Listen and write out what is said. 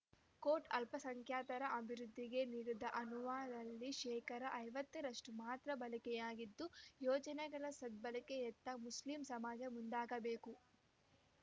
coat ಅಲ್ಪಸಂಖ್ಯಾತರ ಅಭಿವೃದ್ಧಿಗೆ ನೀಡಿದ ಅನುದಾನದಲ್ಲಿ ಶೇಕಡಾ ಐವತ್ತರಷ್ಟುಮಾತ್ರ ಬಳಕೆಯಾಗಿದ್ದು ಯೋಜನೆಗಳ ಸದ್ಭಳಕೆಯತ್ತ ಮುಸ್ಲಿಂ ಸಮಾಜ ಮುಂದಾಗಬೇಕು